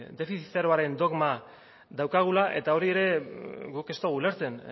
defizit zeroaren dogma daukagula eta hori ere guk ez dugu ulertzen